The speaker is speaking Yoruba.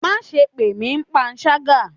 Ma sé pe mí pánṣagá!